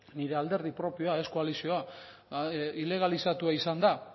nire alderdi propioa ez koalizioa ilegalizatua izan da